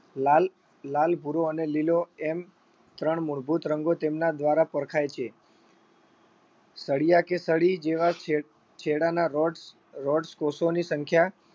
લાલ લાલ ભૂરો અને લીલો એમ ત્રણ મૂળભૂત રંગો તેમના દ્વારા પરખાય છે. સળિયા કે સળી જેવા છે છેડાના rodes rodes કોષોની સંખ્યા